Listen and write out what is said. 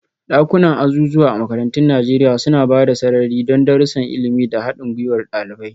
Dakunan azuzuwa a makarantun Najeriya suna ba da sarari don darussan ilimi da haɗin gwiwar ɗalibai.